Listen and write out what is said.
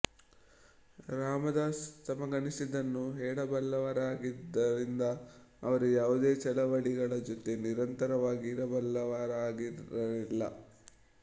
ರಾಮದಾಸ್ ತಮಗನಿಸಿದ್ದನ್ನು ಹೇಳಬಲ್ಲವರಾಗಿದ್ದರಿಂದ ಅವರು ಯಾವುದೇ ಚಳವಳಿಗಳ ಜೊತೆ ನಿರಂತರವಾಗಿ ಇರಬಲ್ಲವರಾಗಿರಲಿಲ್ಲ